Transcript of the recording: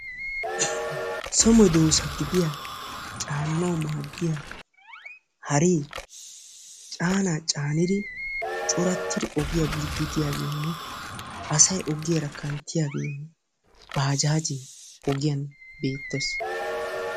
So meedosa gidiyaa caananwu maaddiyaa haree caanaa caannidi corattidi ogiyaa biiddi diyaageenne asay ogiyaara kanttiyaagee bajaajee ogiyaan beettees.